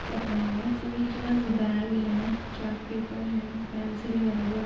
कर रहे हैं सभी की बैग है चार्ट पेपर है पेंसिल है रबर --